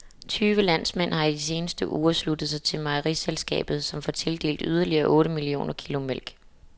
Tyve landmænd har i de seneste uger sluttet sig til mejeriselskabet, som får tildelt yderligere otte millioner kilo mælk.